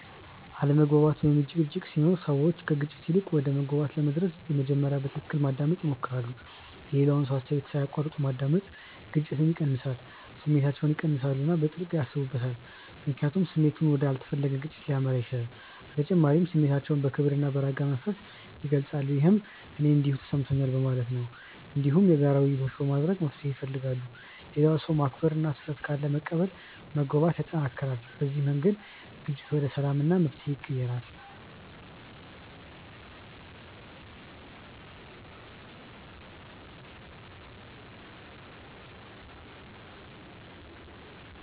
አለመግባባት ወይም ጭቅጭቅ ሲኖር ሰዎች ከግጭት ይልቅ ወደ መግባባት ለመድረስ በመጀመሪያ በትክክል ማዳመጥ ይሞክራሉ። የሌላውን ሰው አስተያየት ሳይቋረጥ ማዳመጥ ግጭትን ይቀንሳል። ስሜታቸውን ይቀንሳሉ እና በጥልቅ ያስቡበታል፣ ምክንያቱም ስሜት ወደ ያልተፈለገ ግጭት ሊመራ ይችላል። በተጨማሪም ስሜታቸውን በክብር እና በረጋ መንፈስ ይገልጻሉ፣ ይህም “እኔ እንዲህ ተሰምቶኛል” በማለት ነው። እንዲሁም የጋራ ውይይት በማድረግ መፍትሄ ይፈልጋሉ። ሌላውን ሰው ማክበር እና ስህተት ካለ መቀበል መግባባትን ያጠናክራል። በዚህ መንገድ ግጭት ወደ ሰላም እና መፍትሄ ይቀየራል።